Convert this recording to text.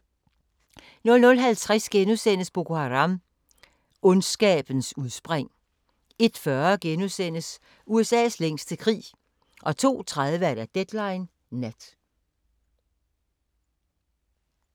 00:50: Boko Haram – Ondskabens udspring * 01:40: USA's længste krig * 02:30: Deadline Nat